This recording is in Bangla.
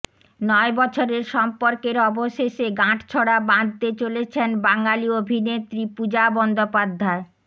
নয় বছরের সম্পর্কের অবশেষে গাঁটছড়া বাঁধতে চলেছেন বাঙালি অভিনেত্রী পূজা বন্দ্যোপাধ্যায়